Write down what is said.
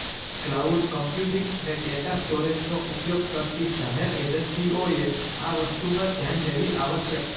cloud computing અને data સ્ટોરેજનો ઉપયોગ કરતી જાહેર એજન્સીઓએ આ વસ્તુ ધ્યાનમાં લેવી આવશ્યક છે